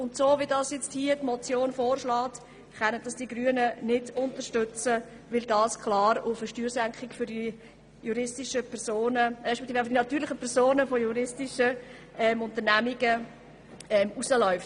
So wie es die Motion vorschlägt, können die Grünen das Anliegen nicht unterstützen, weil es klar auf eine Steuersenkung für die natürlichen Personen juristischer Unternehmungen hinausläuft.